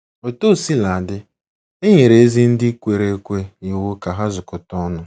Otu o sila dị, e nyere ezi ndị kwere ekwe iwu ka ha zukọta ọnụ.